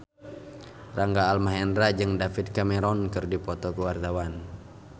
Rangga Almahendra jeung David Cameron keur dipoto ku wartawan